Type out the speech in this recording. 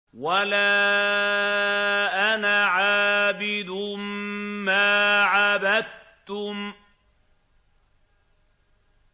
وَلَا أَنَا عَابِدٌ مَّا عَبَدتُّمْ